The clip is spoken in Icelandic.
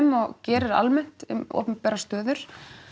og gerir almennt um opinberar stöður